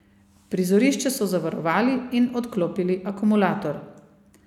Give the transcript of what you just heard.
Prizorišče so zavarovali in odklopili akumulator.